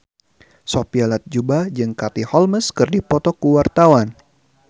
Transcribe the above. Sophia Latjuba jeung Katie Holmes keur dipoto ku wartawan